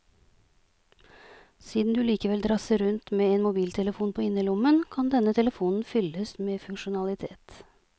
Siden du likevel drasser rundt med en mobiltelefon på innerlommen, kan denne telefonen fylles med funksjonalitet.